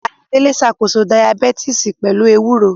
Ayọ̀délé ṣàkóso Dayabítìsì pẹ̀lú ewúro